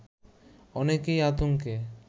অনেকেই আতঙ্কে